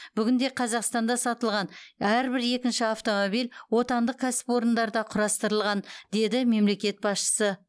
бүгінде қазақстанда сатылған әрбір екінші автомобиль отандық кәсіпорындарда құрастырылған деді мемлекет басшысы